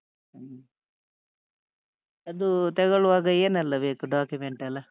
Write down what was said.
ಹ ಅದೂ ತಗೊಳ್ಳುವಾಗ ಏನೆಲ್ಲ ಬೇಕು document ಎಲ್ಲ?